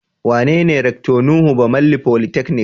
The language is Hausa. Wanene Rector Nuhu Bamalli polytechnic?